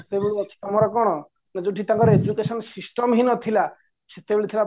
ସେତେବେଳୁ ଅଛି ଆମର କ'ଣ ନା ତାଙ୍କର education system ହିଁ ନଥିଲା ସେତେବେଳେ ଥିଲା